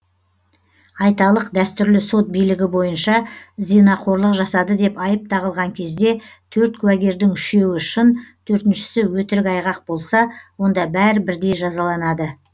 айталық дәстүрлі сот билігі бойынша зинақорлық жасады деп айып тағылған кезде төрт куәгердің үшеуі шын төртіншісі өтірік айғақ болса онда бәрі бірдей жазаланады